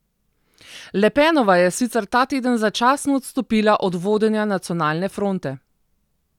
Le Penova je sicer ta teden začasno odstopila od vodenja Nacionalne fronte.